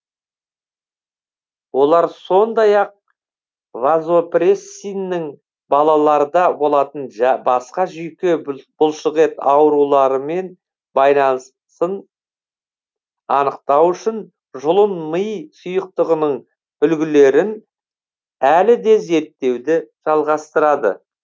олар сондай ақ вазопрессиннің балаларда болатын басқа жүйке бұлшықет ауруларымен байланысын анықтау үшін жұлын ми сұйықтығының үлгілерін әлі де зерттеуді жалғастырады